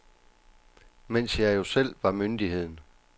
Mens jeg jo selv var myndigheden.